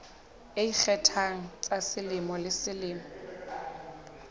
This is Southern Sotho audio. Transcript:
ikgethang tsa selemo le selemo